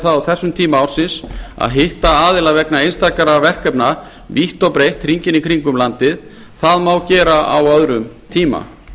á þessum tíma ársins að hitta aðila vegna einstakra verkefna vítt og breitt hringinn í kringum landið það má gera á öðrum tíma